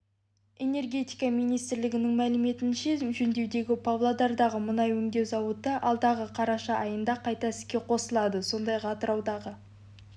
энергетика министрлігінің мәліметінше жөндеудегі павлодардағы мұнай өңдеу зауыты алдағы қараша айында қайта іске қосылады сондай-ақ атыраудағы